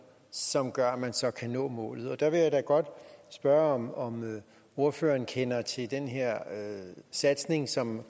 som gør at man så kan nå målet der vil jeg da godt spørge om om ordføreren kender til den her satsning som